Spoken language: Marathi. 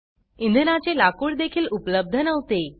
इंधनाचे लाकूड देखील उपलब्ध नव्हते